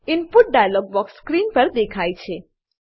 input dialog box screen પર દેખાય છે